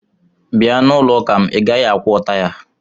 Bia n'ulo uka m, i gaghi-akwa ụta ya